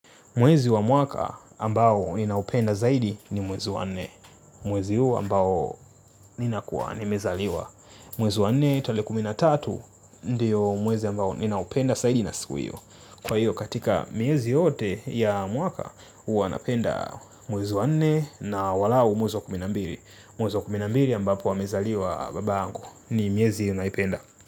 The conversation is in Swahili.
Mwezi wa mwaka ambao ninaupenda zaidi ni mwezi wa nne. Mwezi huu ambao nina lkuwa nimezaliwa. Mwezi wa nne tarehe kumi na tatu ndiyo mwezi ambao ninaupenda zaidi na siku hiyo. Kwa hiyo katika miezi yote ya mwaka huwa napenda mwezi wa nne na walao mwezi wa kumi na mbili. Mwezi wa kumi na mbili ambapo wamezaliwa baba yangu ni miezi naipenda.